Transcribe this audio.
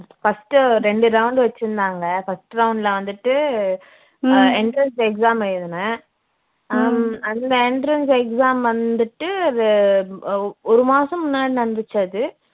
first ரெண்டு round வச்சிருந்தாங்க first round ல வந்துட்டு அஹ் entrance exam எழுதினேன் ஹம் அந்த entrance exam வந்துட்டு ஒரு ஒ ஒரு மாசம் முன்னாடி நடந்துச்சு அது